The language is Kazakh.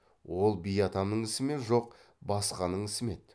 ол би атамның ісі ме жоқ басқаның ісі ме еді